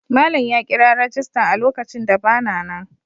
Malam ya kira rajistan a lokacin da ba na nan.